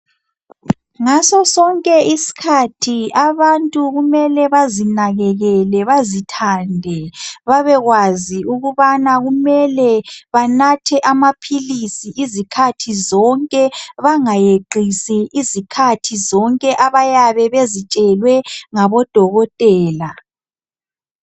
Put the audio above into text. Ngaso sonke isikhathi abantu kumele bazinakekele bazithande babe kwazi ukubana kumele banathe amaphilisi izikhathi zonke bangayeqisi izikhathi zonke abayabe bezitshelwe ngabodokotela.